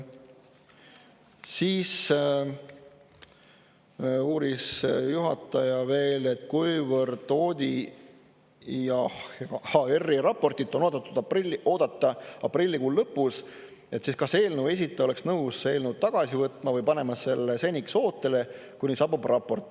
Siis uuris juhataja veel, et kuna ODIHR-i raportit on oodata aprillikuu lõpus, siis kas eelnõu esitaja oleks nõus eelnõu tagasi võtma või panema selle seniks ootele, kuni saabub raport.